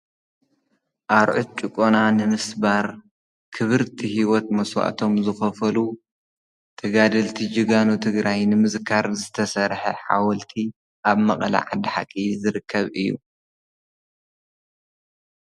ኣርዑት ጭቆና ንምስባር ክብርቲ ሂወት መስዋእቶም ዝኸፈሉ ተጋደልቲ ጀጋኑ ትግራይ ንምዝካር ዝተሰርሐ ሓወልቲ ኣብ መቐለ ዓዲ ሓቂ ዝርከብ እዩ፡፡